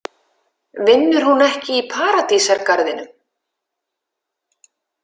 Vinnur hún ekki í Paradísargarðinum?